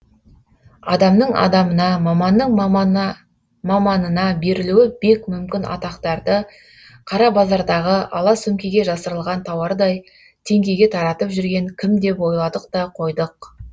адамның адамына маманның маманына берілуі бек мүмкін атақтарды қара базардағы ала сөмкеге жасырылған тауардай теңгеге таратып жүрген кім деп ойладық та қойдық